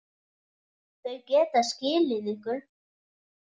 Þau geta skilið ykkur.